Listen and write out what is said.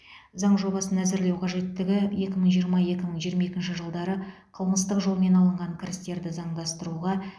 заң жобасын әзірлеу қажеттігі екі мың жиырма екі мың жиырма екінші жылдары қылмыстық жолмен алынған кірістерді заңдастыруға